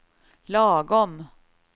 lagom